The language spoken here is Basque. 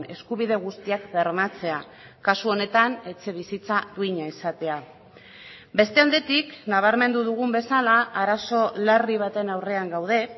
eskubide guztiak bermatzea kasu honetan etxebizitza duina izatea beste aldetik nabarmendu dugun bezala arazo larri baten aurrean gaude